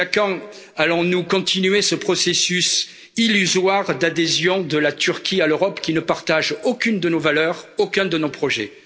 Jusqu'à quand allons nous continuer ce processus illusoire d'adhésion de la Turquie à l'Europe, qui ne partage aucune de nos valeurs, aucun de nos projets?